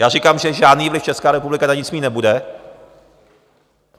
Já říkám, že žádný vliv Česká republika na nic mít nebude.